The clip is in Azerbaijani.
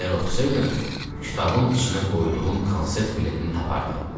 Əgər oxusaydın, kitabın içinə qoyduğum konsert biletini tapardın.